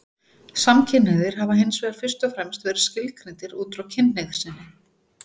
Samkynhneigðir hafa hins vegar fyrst og fremst verið skilgreindir út frá kynhneigð sinni.